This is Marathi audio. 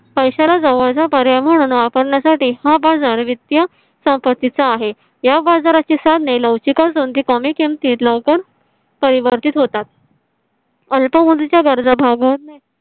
पैशाला जवळचा पर्याय म्हणून वापरण्यासाठी हा बाजार वित्तीय संपत्तीचा आहे. या बाजाराची साधने लवचिक असून ती कमी किमतीत लवकर परिवर्तीत होतात. अल्प च्या गरजा भागवणे.